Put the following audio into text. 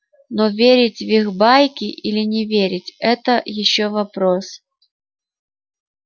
но верить в их байки или не верить это ещё вопрос